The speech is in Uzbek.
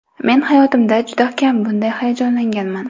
Men hayotimda juda kam bunday hayajonlanganman.